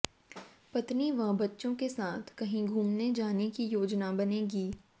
पत्नी व बच्चों के साथ कहीं घूमने जाने की योजना बनेगी